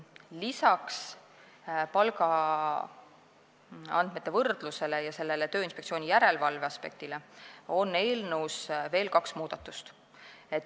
Lisaks palgaandmete võrdlusele ja Tööinspektsiooni järelevalveaspektile on eelnõus tehtud veel kaks muudatust.